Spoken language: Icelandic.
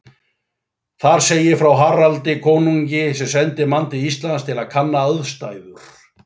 Þar segir frá Haraldi konungi sem sendi mann til Íslands til að kanna aðstæður.